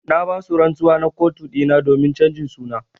Na ba su rantsuwa na kotu dina domin chanjin suna.